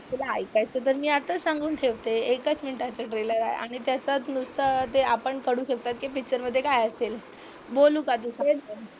तुला ऐकायचे तर मी आताच सांगून ठेवते. एकच मिनिटाचा ट्रेलर आहे आणि तसंच नसतं ते आपण काढू शकतोय की पिक्चर मध्ये काय असेल? बोलू का